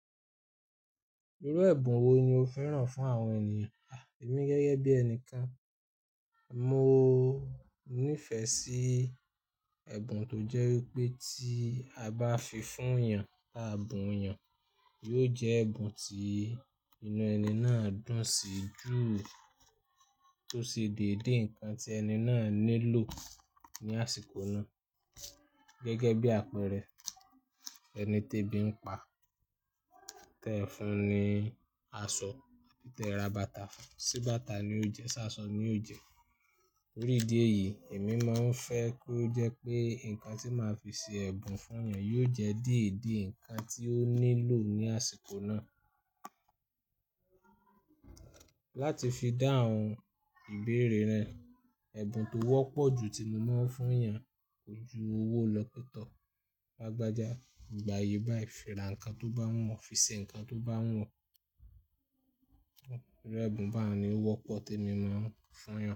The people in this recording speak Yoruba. Irú ẹ̀bùn wo ni o fẹ́ràn fún àwọn ènìyàn? Ẹ̀mí gẹ́gẹ́ bí ẹni kan, mo nífẹ̀ẹ́ sí ẹ̀bùn tó jẹ́ wípé tí a bá fi fún yàn, bá bùn yàn, yóò jẹ́ ẹ̀bùn tí inú ẹni náà dùn sí jù tó sì dìde nǹkan tí ẹni náà nílò ní àsìkò náà. Gẹ́gẹ́ bí àpẹẹrẹ, ẹni tí ebi ń pa, tẹ fun ní aṣọ, tẹ ra bàtà fún, sí bàtà ni yóò jẹ, sí aṣọ ni yóò jẹ. Orí ìdí èyí, èmi máa ń fẹ́ kó jẹ́ pé nǹkan tí màá fi ṣe ẹ̀bùn fún yàn yóò jẹ́ dede nǹkan tí ó nílò ní àsìkò náà. Láti fi dáhùn ìbéèrè rẹ, ẹ̀bùn tó wọ́pọ̀ jù tí mo máa ń fún yàn, kò ju owó lọ pẹ̀ tọ́, bá lagbàjà, gbà ye bá yì fi ra nǹkan tó bá wù ọ́, fi ṣe nǹkan tó bá wù ọ́. Irú ẹ̀bùn bá nì wọ́pọ̀ tí èmi máa ń fún yàn.